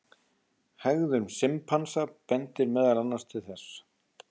Hegðun simpansa bendir meðal annars til þess.